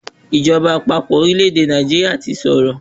Ìjọba àpapọ̀ orílẹ̀-èdè Nàìjíríà ti sọ̀rọ̀.